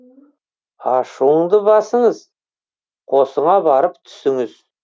ашуыңды басыңыз қосыңа барып түсіңіз